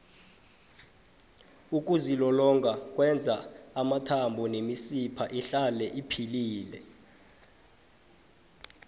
ukuzilolonga kwenza amathambo nemisipha ihlale iphilile